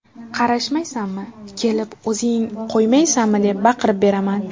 Qarashmaysanmi, kelib o‘zing qo‘ymaysanmi” deb baqirib beraman.